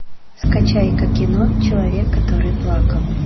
скачай ка кино человек который плакал